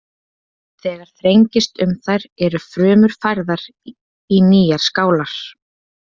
Þegar þrengist um þær eru frumur færðar í nýjar skálar.